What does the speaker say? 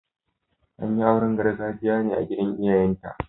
An yi auren gargajiya ne a gidan iyayenta.